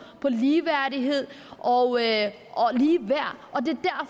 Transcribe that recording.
på ligeværdighed og ligeværd